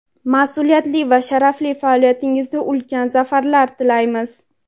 masʼuliyatli va sharafli faoliyatingizda ulkan zafarlar tilaymiz!.